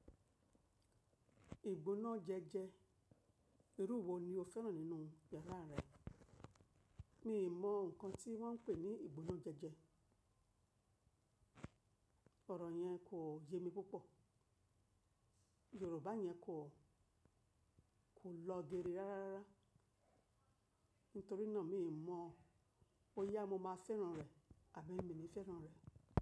Ìgbóná jẹ́jẹ́, irú wo ni o fẹ́ràn nínú yàrá rẹ? Mii mọ nǹkan tí wọ́n ń pè ní ìgbóná jẹ́jẹ́. Ọ̀rọ̀ yẹn kò yé mi púpọ̀. Yorùbá yẹn kò, kò lọ geere rárárara. Nítorí náà mi mọ. Boyá mo máa fẹ́ràn rẹ̀ àbí mi ni fẹ́ràn rẹ̀